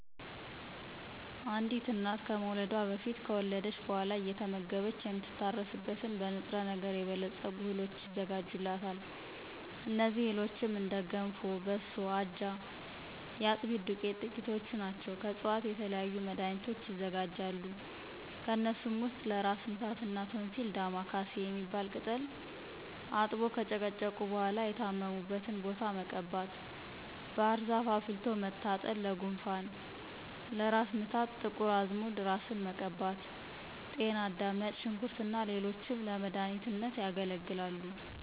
አንዲት እናት ከመውለዷ በፊት ከወለደች በኋላ አየተመገበች የምትታረስበትን በ ንጥረ ነገር የበለፀጉ እህሎች ይዘጋጁላታል። እነዚህ እህሎችም እንደ ገንፎ፣ በሶ፣ አጃ፣ የአጥሚት ዱቄት ጥቂቶቹ ናቸው። ከዕፅዋቶች የተለያዩ መድኋኒቶች ይዘጋጃሉ። ከነሱም ውስጥ ለ እራስ ምታት እና ቶንሲል ዳማ ካሴ የሚባል ቅጠል አጥቦ ከጨቀጨቁ በኋላ የታመሙበትን ቦታ መቀባት፣ ባህርዛፍ አፍልቶ መታጠን ለጉንፋን፣ ለ እራስ ምታት ጥቁር አዝሙድ እራስን መቀባት፣ ጤና አዳም፣ ነጭ ሽንኩርት እና ሌሎችም ለመዳኒትነት ያገለግላሉ።